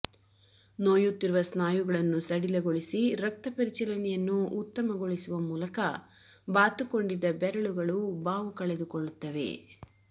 ನೋಯುತ್ತಿರುವ ಸ್ನಾಯುಗಳನ್ನು ಸಡಿಲಗೊಳಿಸಿ ರಕ್ತಪರಿಚಲನೆಯನ್ನೂ ಉತ್ತಮಗೊಳಿಸುವ ಮೂಲಕ ಬಾತುಕೊಂಡಿದ್ದ ಬೆರಳುಗಳು ಬಾವು ಕಳೆದುಕೊಳ್ಳುತ್ತವೆ